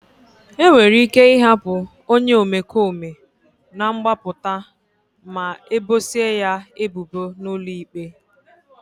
E nwere ike ịhapụ onye omekome na mgbapụta ma ebosia ya ebubo n'ụlọ ikpe.